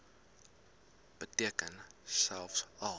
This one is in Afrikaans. beteken selfs al